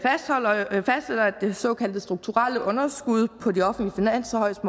det såkaldte strukturelle underskud på de offentlige finanser højst